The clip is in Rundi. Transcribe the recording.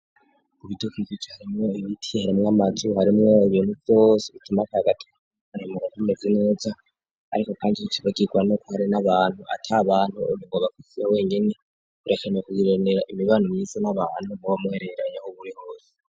Ubiduka ikca harimwo ibibitiy haramwo amajuru harimwo ibintu vyose bituma tagati arimugatmezi inuza, ariko, kandi kicizagirwa no kuhari n'abantu ata bantu urungo bakuvuya wengene birekane kugiranera imibano myiza n'abantu mubamuhereranye aho uburi hose.